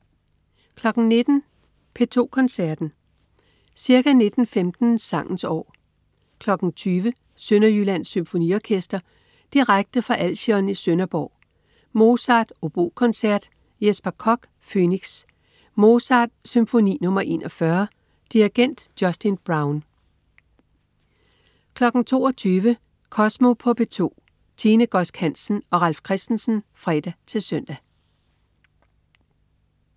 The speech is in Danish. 19.00 P2 Koncerten. Ca. 19.15 Sangens år. 20.00 Sønderjyllands Symfoniorekster. Direkte fra Alsion i Sønderborg. Mozart: Obokoncert. Jesper Koch: Phoenix. Mozart: Symfoni nr. 41. Dirigent: Justin Brown 22.00 Kosmo på P2. Tine Godsk Hansen og Ralf Christensen (fre-søn)